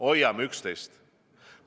Hoiame üksteist!